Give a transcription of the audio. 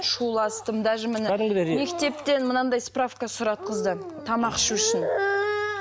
шуластым даже міне мектептен мынандай справка сұратқызды тамақ ішу үшін